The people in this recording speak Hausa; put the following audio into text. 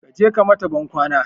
Kaje ka mata ban kwana